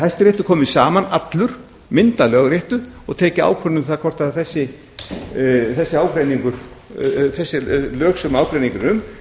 hæstiréttur komið saman allur myndað lögréttu og tekið ákvörðun um það hvort þessi lög sem ágreiningur er